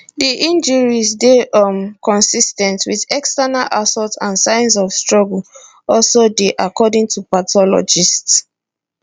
di injuries dey um consis ten t wit external assault and signs of struggle also dey according to pathologists